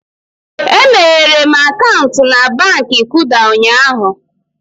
E meghere m akaụntụ na Baankị Kuda ụnyaahụ